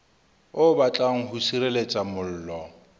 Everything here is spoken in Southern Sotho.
o batlang ho sireletsa mollo